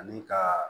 Ani ka